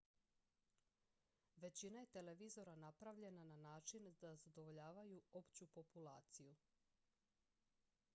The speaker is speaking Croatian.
većina je televizora napravljena na način da zadovoljavaju opću populaciju